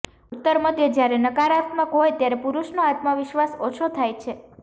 ઉત્તર મધ્ય જયારે નકારાત્મક હોય ત્યારે પુરુષનો આત્મવિશ્વાસ ઓછો થાય છે